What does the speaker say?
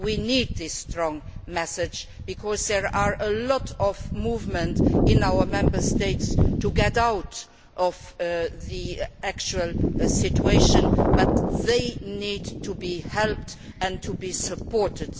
We need this strong message because there is a lot of movement in our Member States to get out of the actual situation, but they need to be helped and to be supported.